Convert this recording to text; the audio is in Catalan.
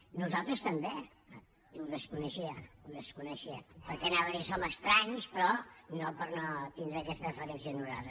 a nosaltres també ho desconeixia ho desconeixia perquè anava a dir som estranys però no per no tenir aquesta deferència a nosaltres